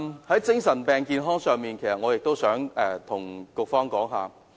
在精神病健康上，我想向局方反映一點。